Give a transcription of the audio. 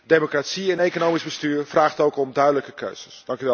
Democratie en economisch bestuur vraagt om duidelijke keuzes.